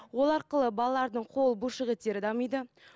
ол арқылы балалардың қол бұлшық еттері дамиды